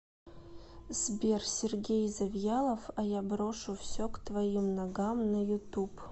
сбер сергей завьялов а я брошу все к твоим ногам на ютуб